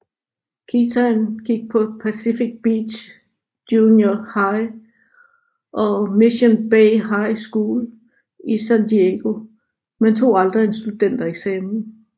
Kitaen gik på Pacific Beach Junior High og Mission Bay High School i San Diego men tog aldrig en studentereksamen